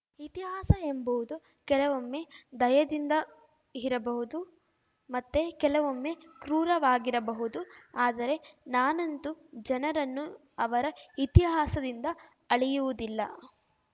ಇತಿಹಾಸ ಎಂಬುವುದು ಕೆಲವೊಮ್ಮೆ ದಯೆಯಿಂದ ಇರಬಹುದು ಮತ್ತೆ ಕೆಲವೊಮ್ಮೆ ಕ್ರೂರವಾಗಿರಬಹುದು ಆದರೆ ನಾನಂತೂ ಜನರನ್ನು ಅವರ ಇತಿಹಾಸದಿಂದ ಅಳೆಯುವುದಿಲ್ಲ